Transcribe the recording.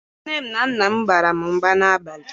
Nne na Nna m bara mba n'abalị